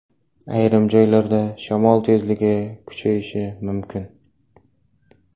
Ayrim joylarda shamol tezligi kuchayishi mumkin.